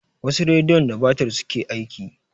Wasu rediyon da batir suke aiki.